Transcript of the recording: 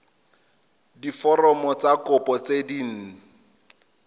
diforomo tsa kopo tse dint